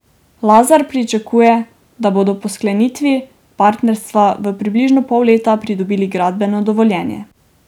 Lazar pričakuje, da bodo po sklenitvi partnerstva v približno pol leta pridobili gradbeno dovoljenje.